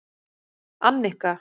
Annika